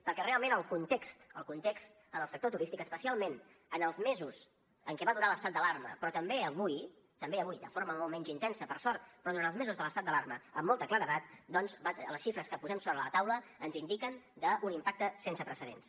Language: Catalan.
perquè realment el context el context en el sector turístic especialment en els mesos en què va durar l’estat d’alarma però també avui també avui de forma molt menys intensa per sort però durant els mesos de l’estat d’alarma amb molta claredat doncs les xifres que posem sobre la taula ens indiquen un impacte sense precedents